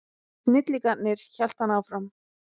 Snillingarnir, hélt hann áfram.